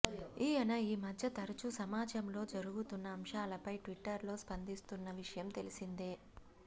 ఈయన ఈ మధ్య తరచూ సమాజంలో జరుగుతున్న అంశాలపై ట్విట్టర్లో స్పందిస్తున్న విషయం తెలిసిందే